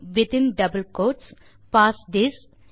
within double quotes parse this